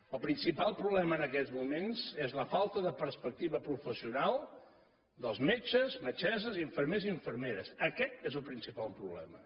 el principal problema en aquests moments és la falta de perspectiva professional dels metges metgesses infermers i infermeres aquest és el principal problema